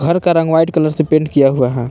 घर का रंग व्हाइट कलर से पेंट किया हुआ है।